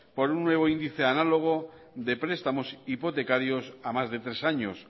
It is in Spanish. por un nuevo índice análogo de prestamos hipotecarios a más de tres años